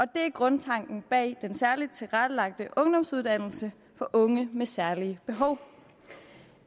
der er grundtanken bag den særligt tilrettelagte ungdomsuddannelse for unge med særlige behov